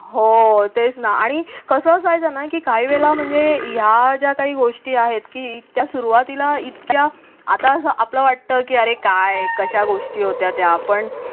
हो तेच ना आणि कसं असायचं ना की काही वेळेला म्हणजे या ज्या काही गोष्टी आहेत की त्या सुरूवातीला इतक्या आता आपलं वाटतं की अरे काय कशा गोष्टी होत्या पण.